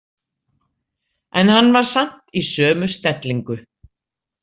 En hann var samt í sömu stellingu.